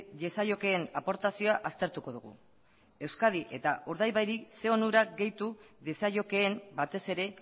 diezaiokeen aportazioa aztertuko dugu euskadi eta urdaibairi zer onurak gehitu diezaiokeen batez ere